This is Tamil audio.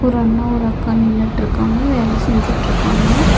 ஒரு அண்ணா ஒரு அக்கா நின்னுட்டுருக்காங்க வேல செஞ்சுட்டுருக்காங்க.